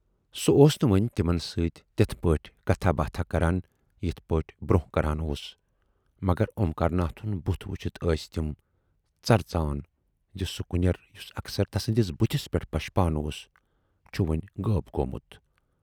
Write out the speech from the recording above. سُہ اوس نہٕ وۅنۍ تِمن سۭتۍ تِتھٕ پٲٹھۍ کتھاہ باتھاہ کران یِتھٕ پٲٹھۍ برونہہ کران اوس مگر اومکار ناتھُن بُتھ وُچھِتھ ٲس تِم ژرژان زِ سُہ کُنٮ۪ر یُس اکثر تسٕندِس بُتھِس پٮ۪ٹھ پشپان اوس، چھُ وۅنۍ غٲب گومُت۔